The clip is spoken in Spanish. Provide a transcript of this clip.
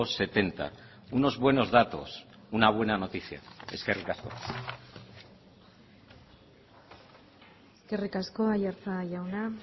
setenta unos buenos datos una buena noticia eskerrik asko eskerrik asko aiartza jauna